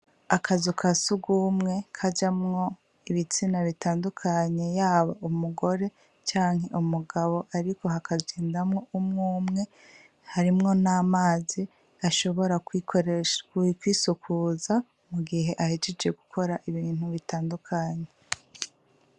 Akazu ka sugumwe kajamwo ibitsina bitandukanye yaba umugore canke umugabo ariko hakagendamwo umwumwe harimwo n'amazi ashobora bwikoresha mu kwisukuza mu gihe ahejeje gukora ibintu bitandukanye.